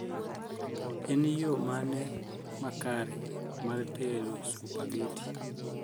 en you mane ma kare mar tedo supageti